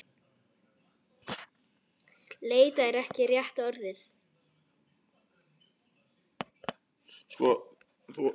Leita er ekki rétta orðið.